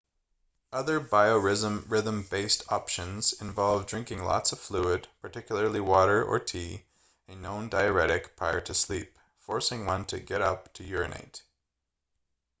other biorhythm-based options involve drinking lots of fluid particularly water or tea a known diuretic prior to sleep forcing one to get up to urinate